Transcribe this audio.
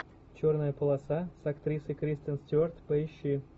черная полоса с актрисой кристен стюарт поищи